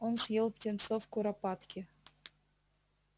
он съел птенцов куропатки